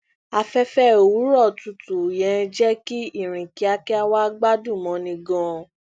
aféfé òwúrọ tutù yẹn jẹ kí ìrìn kiakia wa gbádùn mọni ganan